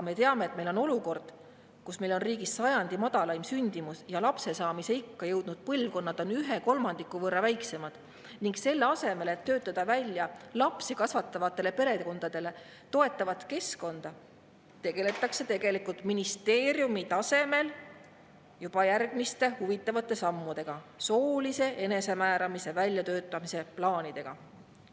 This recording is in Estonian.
Me teame, et meil on olukord, kus meil on riigis sajandi madalaim sündimus ja lapsesaamisikka jõudnud põlvkonnad on ühe kolmandiku võrra väiksemad, aga selle asemel, et töötada välja lapsi kasvatavatele perekondadele toetavat keskkonda, tegeldakse ministeeriumi tasemel juba järgmiste huvitavate sammudega, soolise enesemääramise väljatöötamise plaanidega.